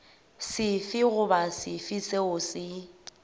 sefe goba sefe seo se